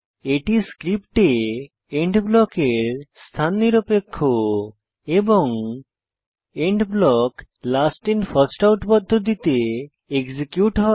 এটি স্ক্রিপ্টে এন্ড ব্লকের স্থান নিরপেক্ষ এবং end block last in first out পদ্ধতিতে এক্সিকিউট হয়